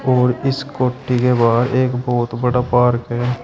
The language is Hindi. और इस कोठी के बाहर एक बहुत बड़ा पार्क है।